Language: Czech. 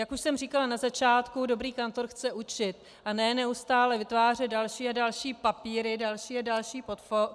Jak už jsem říkala na začátku, dobrý kantor chce učit a ne neustále vytvářet další a další papíry, další a další portfólia.